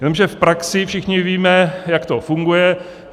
Jenže v praxi všichni víme, jak to funguje.